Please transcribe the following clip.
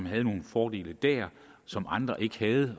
havde nogle fordele der som andre ikke